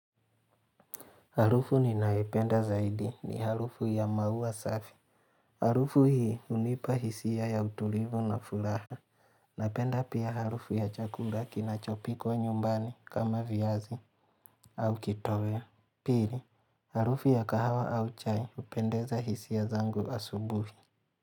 Harufu ninayopenda zaidi ni harufu ya maua safi Harufu hii hunipa hisia ya utulivu na furaha Napenda pia harufu ya chakula kinachopikwa nyumbani kama viazi au kitoya. Pili, harufu ya kahawa au chai hupendeza hisia zangu asubuhi.